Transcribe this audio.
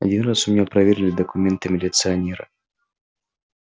один раз у меня проверили документы милиционеры